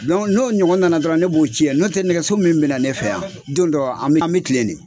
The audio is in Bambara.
n'o ɲɔgɔn nana dɔrɔn ne b'o cɛn n'o tɛ nɛgɛso min bɛ na ne fɛ yan don dɔ an an bɛ tilennen